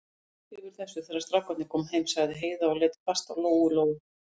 Þú þegir yfir þessu, þegar strákarnir koma heim, sagði Heiða og leit hvasst á Lóu-Lóu.